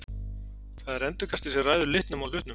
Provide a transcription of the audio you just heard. Það er endurkastið sem ræður litnum á hlutnum.